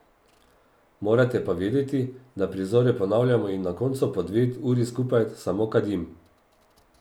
Morate pa vedeti, da prizore ponavljamo in na koncu po dve uri skupaj samo kadim.